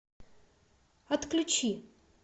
отключи